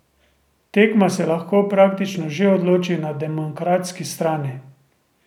Tekma se lahko praktično že odloči na demokratski strani.